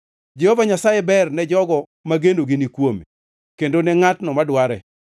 Jehova Nyasaye ber ne jogo ma genogi ni kuome, kendo ne ngʼatno madware,